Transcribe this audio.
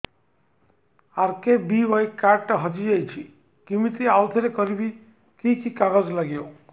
RKBY card ଟା ହଜିଯାଇଛି କିମିତି ଆଉଥରେ କରିବି କି କି କାଗଜ ଲାଗିବ